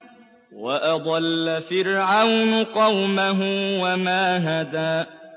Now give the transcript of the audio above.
وَأَضَلَّ فِرْعَوْنُ قَوْمَهُ وَمَا هَدَىٰ